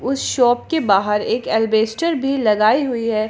उस शॉप के बाहर एक एल्वेस्टर भी लगाई हुई है।